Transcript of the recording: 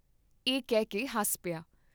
ਇਹ ਕਹਿਕੇ ਹੱਸ ਪਿਆ।